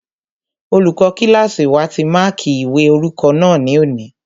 Olùkọ́ kílásì wa ti máàkí ìwé orúkọ náà ní òní